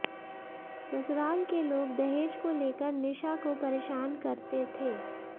ससुराल के लोग दहेज को लेकर निशा को परेशान करते थे